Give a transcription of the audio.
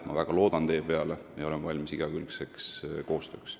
Ma väga loodan teie peale ja olen valmis igakülgseks koostööks.